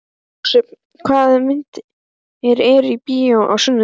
Jósep, hvaða myndir eru í bíó á sunnudaginn?